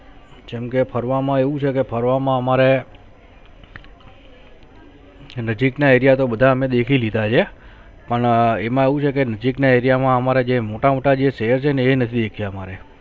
જેમ કે ફરવામાં એવું છે કે ફરવામાં અમારે નજીકના area તો બધા અમે દેખી લીધા છે પણ અમ એમા એવું છે કે નજીકના area માં અમારા જે મોટા મોટા જે શહેર છે એ નથી દેખીયા અમારે